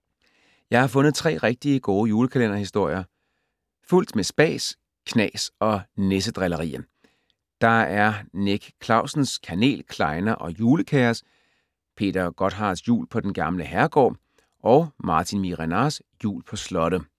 Jeg har fundet tre rigtig gode kalenderhistorier fuldt med spas, knas og nissedrillerier. Der er Nick Clausens Kanel, klejner og julekaos, Peter Gottharts Jul på den gamle herregård og Martin Miehe-Renards Jul på slottet.